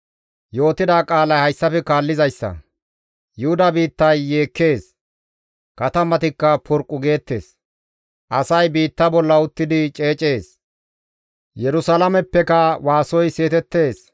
«Yuhuda biittay yeekkees; katamatikka porqqu geettes; asay biitta bolla uttidi ceecees; Yerusalaameppeka waasoy seetettees.